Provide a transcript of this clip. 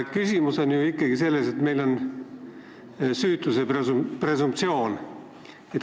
Küsimus on ikkagi selles, et meil kehtib süütuse presumptsioon.